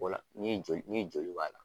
O la ni joli ni joli b'a la.